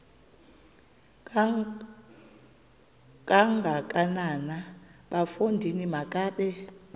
kangakanana bafondini makabe